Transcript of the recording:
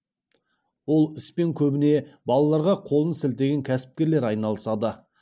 ол іспен көбіне балаларға қолын сілтеген кәсіпкерлер айналысады